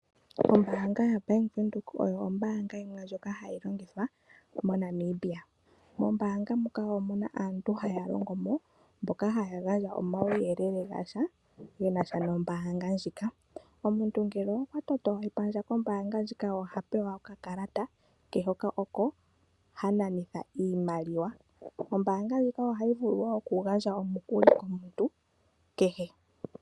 Ombaanga ya Bank Windhoek oyo ombaanga yimwe ndjoka hayi longithwa moNamibia. Mombaanga muka omuna aantu haya longo mo ,mboka haya gandja omauyelele ge nasha nombaanga ndjika . Omuntu ngele okwa toto epandja kombaanga ndjika oha pewa okakalata, oko ha nanitha iimaliwa. Ombaanga ndjika ohayi vulu woo oku gandja omukuli komuntu kehe.